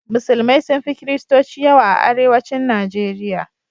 Musulmai sun fi kiristoci yawa a arewacin Nijeriya.